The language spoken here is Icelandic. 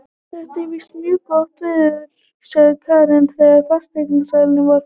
Þetta er víst mjög gott verð, sagði Karen þegar fasteignasalinn var farinn.